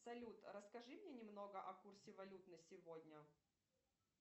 салют расскажи мне немного о курсе валют на сегодня